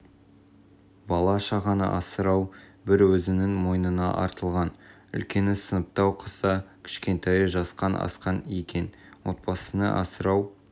бала-шағаны асырау бір өзінің мойнына артылған үлкені сыныпта оқыса кішкентайы жасқан асқан екен отбасын асырау